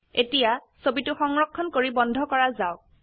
এতিয়া ছবিটো সংৰক্ষণ কৰি বন্ধ ক ৰা যাওক